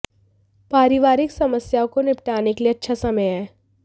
पारिवारिक समस्याओं को निपटाने के लिए अच्छा समय है